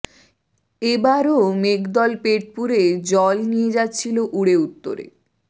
এবারও মেঘদল পেট পুরে জল নিয়ে যাচ্ছিল উড়ে উত্তরে